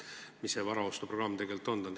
Mis see varaostuprogramm siis tegelikult on?